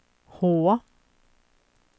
H